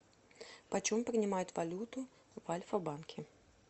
почем принимают валюту в альфа банке